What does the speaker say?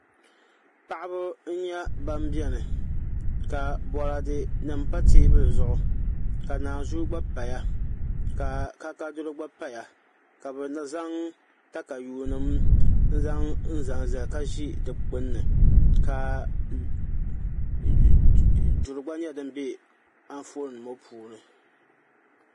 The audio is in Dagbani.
Paɣaba n nyɛ ban biɛni ka boraadɛ nim pa teebuli zuɣu ka naazuu gba paya ka kaakaadiro gba paya ka bi zaŋ katayuu nim n zaŋ zali ka ʒi di gbunni ka duri gba nyɛ din bɛ Anfooni ŋo puuni